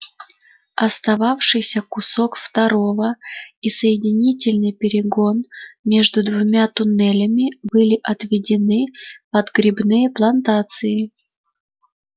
остававшийся кусок второго и соединительный перегон между двумя туннелями были отведены под грибные плантации